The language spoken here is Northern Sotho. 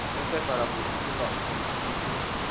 sesefala motsotso ka motsotso ke